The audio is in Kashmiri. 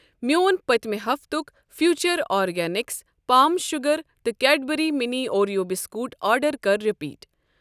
میون پٔتمہِ ہفتک فیوٗچر آرگینِکس پام شوٗگر تہٕ Cadbury mini Oreo biscuit order کر رِپیٖٹ۔